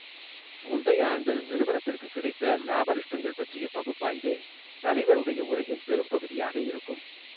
முந்தைய ஆண்டு நிறுவனத்திற்குக் கிடைத்த லாப நஷ்டங்கள் பற்றிய பகுப்பாய்வே தலைவருடைய உரையின் பெரும்பகுதியாக இருக்கும்.